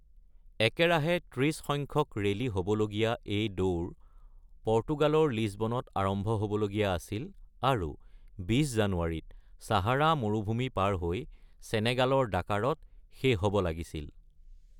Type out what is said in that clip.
একেৰাহে ৩০ সংখ্যক ৰেলী হ’বলগীয়া এই দৌৰ পৰ্তুগালৰ লিছবনত আৰম্ভ হ’বলগীয়া আছিল আৰু ২০ জানুৱাৰীত চাহাৰা মৰুভূমি পাৰ হৈ চেনেগালে ডাকাৰত শেষ হ’ব লাগিছিল।